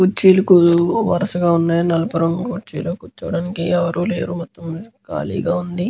కుర్చీలకు వరుసగా వున్నాయి నలుపు రంగు కుర్చీలొ కూర్చోడానికి ఎవరు లేరు మొత్తం కాలిగా వుంది.